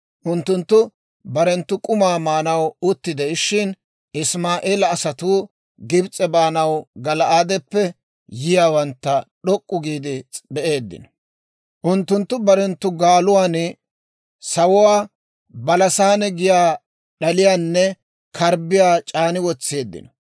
Unttunttu barenttu k'umaa maanaw utti de'ishshin, Isimaa'eela asatuu Gibs'e baanaw Gala'aadeppe yiyaawantta d'ok'k'u giide be'eeddino; unttunttu barenttu gaaluwaan sawuwaa, balasaane giyaa d'aliyaanne karbbiyaa c'aani wotseeddino.